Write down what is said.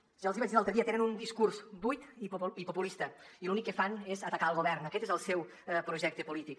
si ja els hi vaig dir l’altre dia tenen un discurs buit i populista i l’únic que fan és atacar el govern aquest és el seu projecte polític